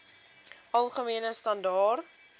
algemene standaar